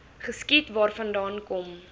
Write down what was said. geskiet waarvandaan kom